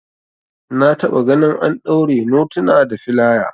Na taba gani an daure notuna da filaya